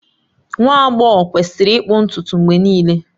Nwa agbọghọ kwesịrị ịkpụ ntutu mgbe niile